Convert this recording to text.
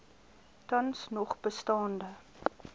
tans nog bestaande